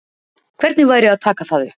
Hvernig væri að taka það upp?